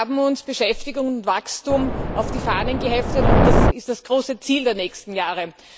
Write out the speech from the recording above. Wir haben uns Beschäftigung und Wachstum auf die Fahnen geheftet, und das ist das große Ziel der nächsten Jahre.